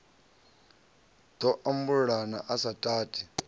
ḓo ambulula a sa tati